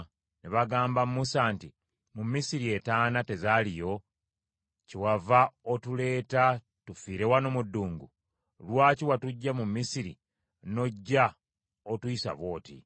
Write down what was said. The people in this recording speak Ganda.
Ne bagamba Musa nti, “Mu Misiri entaana tezaaliyo, kyewava otuleeta tufiire wano mu ddungu? Lwaki watuggya mu Misiri n’ojja otuyisa bw’oti?